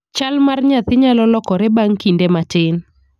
Chal mar nyathi nyalo lokore bang' kinde matin.